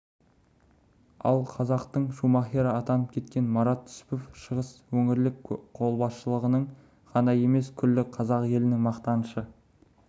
ал қазақтың шумахері атанып кеткен марат түсіпов шығыс өңірлік қолбасшылығының ғана емес күллі қазақ елінің мақтанышы